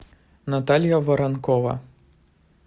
наталья воронкова